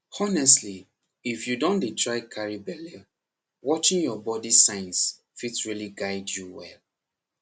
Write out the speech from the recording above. honestly if you dey try carry belle watching your body signs fit really guide you well